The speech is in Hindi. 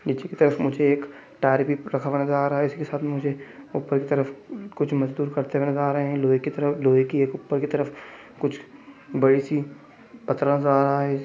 नीचे की तरफ़ मुझे एक टायर भी रखा हुआ नजर आ रहा है इसके साथ मे मुझे ऊपर की तरफ़ कुछ मजदूर करते हुए नजर आ रहे है लोहे की तरह लोहे की एक ऊपर की तरफ़ कुछ बड़ी-सी पत्रा नजर आ रहा है।